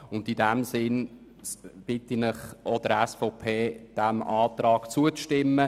In diesem Sinne bitte ich Sie, auch die SVP, unserem Antrag zuzustimmen.